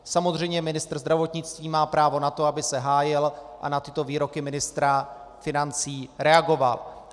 Samozřejmě ministr zdravotnictví má právo na to, aby se hájil a na tyto výroky ministra financí reagoval.